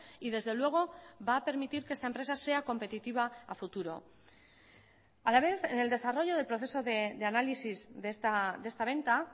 y desde luego va a permitir que esta empresa sea competitiva a futuro a la vez en el desarrollo del proceso de análisis de esta venta